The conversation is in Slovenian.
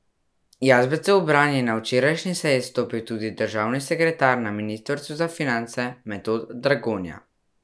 Jazbecu v bran je na včerajšnji seji stopil tudi državni sekretar na ministrstvu za finance Metod Dragonja.